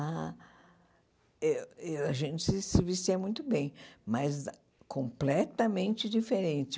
Ah eu eu a gente se vestia muito bem, mas completamente diferente.